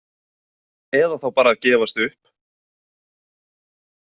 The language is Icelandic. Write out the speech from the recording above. Eða þá bara að gefast upp?